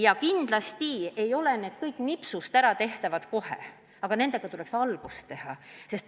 Ja kindlasti ei ole need asjad kõik otsemaid nipsust ära tehtavad, aga nendega tuleks algust teha.